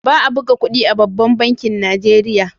Ba a buga kudi a babban bankin Nijeriya.